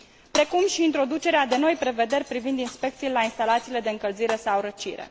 precum și introducerea de noi prevederi privind inspecțiile la instalațiile de încălzire sau răcire.